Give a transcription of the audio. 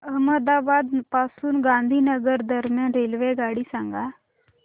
अहमदाबाद पासून गांधीनगर दरम्यान रेल्वेगाडी सांगा